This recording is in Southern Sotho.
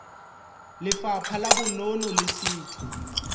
lefapha la bonono le setho